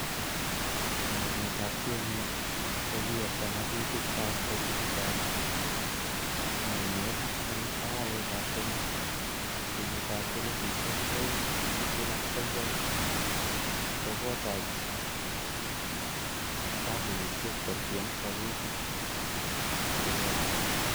Mornetab CMA, kokiyabta ngatutik ab bokisitab ngainet en arawetab somok, kenyitab elfusiek oeng tibtem ak sogol ko kotach kompunisiek kotiem woluutik che lelach.